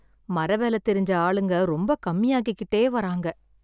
மர வேல தெரிஞ்ச ஆளுங்க ரொம்ப கம்மி ஆயிக்கிட்டே வராங்க.